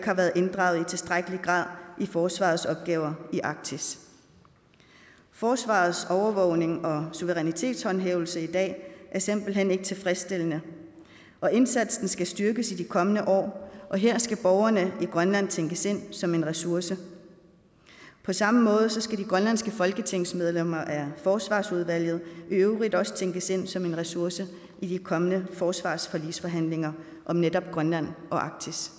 har været inddraget i tilstrækkelig grad i forsvarets opgaver i arktis forsvarets overvågning og suverænitetshåndhævelse er i dag simpelt hen ikke tilfredsstillende og indsatsen skal styrkes i de kommende år og her skal borgerne i grønland tænkes ind som en ressource på samme måde skal de grønlandske folketingsmedlemmer af forsvarsudvalget også tænkes ind som en ressource i de kommende forsvarsforligsforhandlinger om netop grønland og arktis